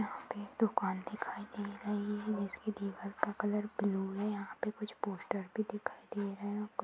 एक दुकान दिखाई दे रही है जिसकी दिवार का कलर ब्लू है। यहाँ पे कुछ पोस्टर भी दिखाई दे रहै है और कुछ--